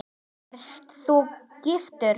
Ert þú giftur?